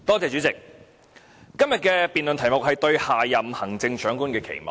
主席，今天的議案辯論題目是"對下任行政長官的期望"。